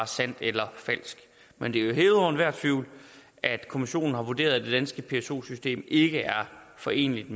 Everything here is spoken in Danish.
sandt eller falsk men det er hævet over enhver tvivl at kommissionen har vurderet at det danske pso system ikke er foreneligt